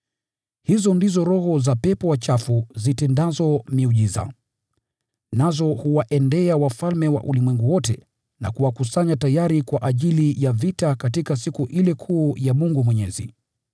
Hizo ndizo roho za pepo wachafu zitendazo miujiza. Nazo huwaendea wafalme wa ulimwengu wote na kuwakusanya tayari kwa ajili ya vita katika siku ile kuu ya Mungu Mwenyezi.